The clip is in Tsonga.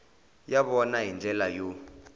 ya vona hi ndlela yo